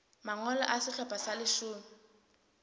mangolo a sehlopha sa leshome